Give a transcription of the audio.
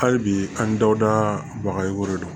Hali bi an dɔw da baga ye ko de don